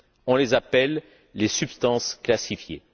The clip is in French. On les appelle les substances classifiées.